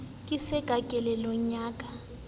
ke se ka kelellong ya